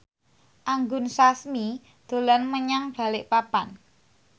Anggun Sasmi dolan menyang Balikpapan